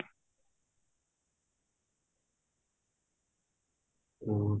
ਹੋਰ